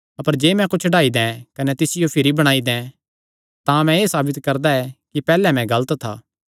अपर जे मैं कुच्छ ढाई दैं कने तिसियो भिरी बणाई दैं तां मैं एह़ साबित करदा ऐ कि पैहल्ले मैं गलत था